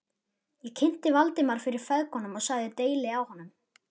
Ég kynnti Valdimar fyrir feðgunum og sagði deili á honum.